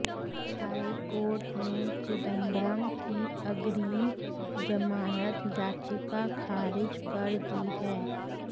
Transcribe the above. high court ने चिदंबरम की अग्रिम जमानत याचिका खारिज कर दी है